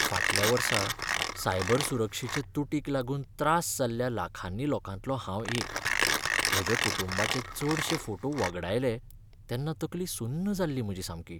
फाटल्या वर्सा सायबर सुरक्षेचे तुटीक लागून त्रास जाल्ल्या लाखांनी लोकांतलो हांव एक. म्हज्या कुटुंबाचे चडशे फोटो वगडायले तेन्ना तकली सुन्न जाल्ली म्हजी सामकी.